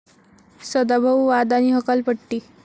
सदाभाऊ, वाद आणि हकालपट्टी